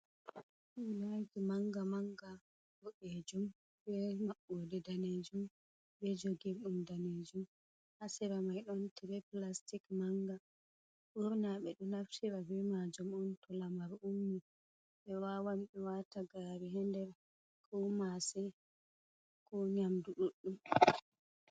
"Womaji" manga manga boɗejum be maɓɓode danejum be jogirdum danejum ha sera mai ɗon tire plastic manga ɓurna ɓeɗo naftira ɓe majum on to lamar ummi ɓe wawan ɓe wata gari ha nder ko mase ko nyamdu ɗuɗɗum.